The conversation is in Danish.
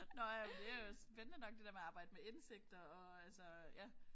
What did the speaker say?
Nåh ja men det jo spændende nok det der med at arbejde med indsigter og altså ja